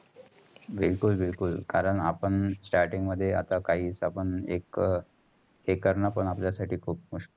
बिलकुल बिलकुल. कारण आपण starting मध्ये आता आपण काईस आपण एक आपला साठी खूप मुशखील.